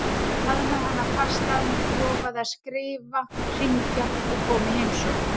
Ég faðmaði hana fast að mér, lofaði að skrifa, hringja og koma í heimsókn.